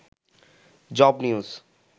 job news